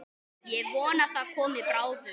Ég vona það komi bráðum.